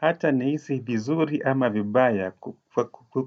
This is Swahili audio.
Hata nihisi vizuri ama vibaya